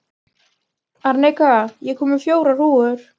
Arnika, ég kom með fjórar húfur!